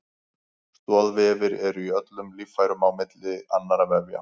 Stoðvefir eru í öllum líffærum á milli annarra vefja.